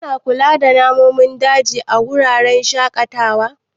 Ana kula da nanomin daji a wuraren shaƙatawa.